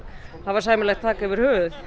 hafa sæmilegt þak yfir höfuðið